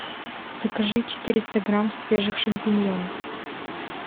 закажи четыреста грамм свежих шампиньонов